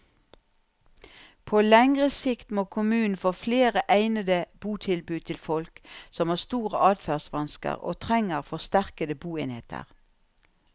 På lengre sikt må kommunen få flere egnede botilbud til folk som har store adferdsvansker og trenger forsterkede boenheter.